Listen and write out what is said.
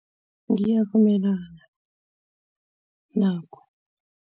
Ngiyavumelana nakho.